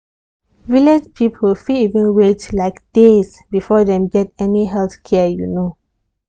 village people fit even dey wait like days before dem get any health care you know.